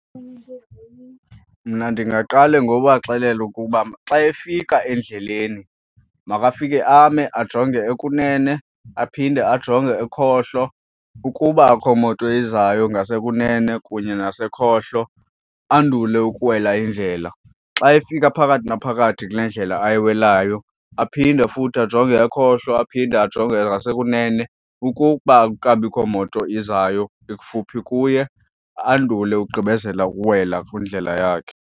Mna ndingaqale ngobaxelela ukuba xa efika endleleni makafike ame ajonge okunene, aphinde ajonge ekhohlo. Ukuba akho moto ezayo ngasekunene kunye nasekhohlo, andule ukuwela indlela. Xa efika phakathi naphakathi kule ndlela ayiwelayo, aphinde futhi ajonge ekhohlo aphinde ajonge ngasekunene. Ukuba akukabikho moto izayo ikufuphi kuye andule ukugqibezela ukuwela kwindlela yakhe.